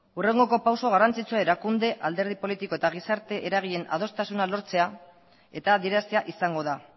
hurrengoko pausu garrantzitsua erakunde alderdi politiko eta gizarte eragileen adostasuna lortzea eta adieraztea izango da